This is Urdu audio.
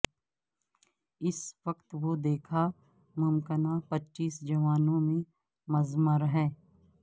اس وقت وہ دیکھا ممکنہ پچیس جوانوں میں مضمر ہے